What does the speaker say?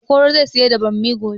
Okoro zai siyar da bammi gobe